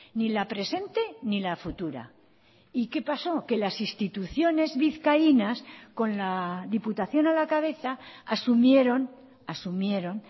ni la presente ni la futura y qué pasó que las instituciones vizcaínas con la diputación a la cabeza asumieron asumieron